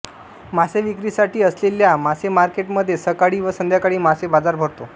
मासे विक्रीसाठी असलेल्या मासेमार्केटमध्ये सकाळी व संध्याकाळी मासे बाजार भरतो